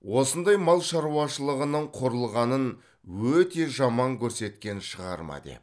осындай мал шаруашылығының құрылғанын өте жаман көрсеткен шығарма деп